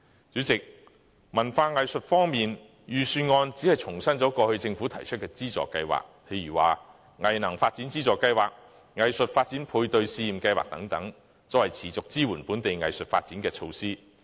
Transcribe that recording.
主席，在文化藝術方面，預算案只重申了政府過去提出的資助計劃，例如"藝能發展資助計劃"、"藝術發展配對資助試驗計劃"等，作為持續支援本地藝術發展的措施。